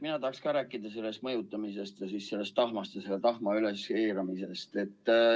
Mina tahaks ka rääkida sellest mõjutamisest ja sellest tahma üleskeerutamisest.